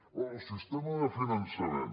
diu bé el sistema de finançament